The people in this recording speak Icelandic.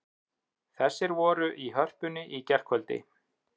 Þessir voru í Hörpunni í gærkvöldi